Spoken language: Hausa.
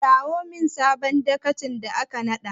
Kirawo min sabon dagacin da aka naɗa!